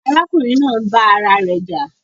Àrakùnrin naa ń bà ara rè jà